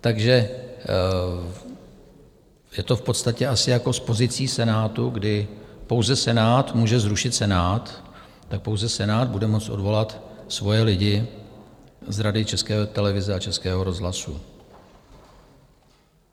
Takže je to v podstatě asi jako s pozicí Senátu, kdy pouze Senát může zrušit Senát, tak pouze Senát bude moci odvolat svoje lidi z Rady České televize a Českého rozhlasu.